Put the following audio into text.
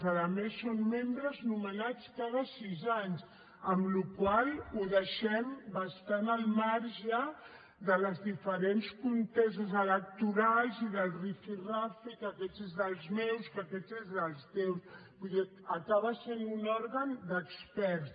a més són membres nomenats cada sis anys amb la qual cosa ho deixem bastant al marge de les diferents comtesses electorals i del rifirrafe que aquest és dels meus que aquest és dels teus vull dir que acaba sent un òrgan d’experts